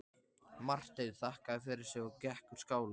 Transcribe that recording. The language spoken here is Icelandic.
Marteinn þakkaði fyrir sig og gekk úr skála.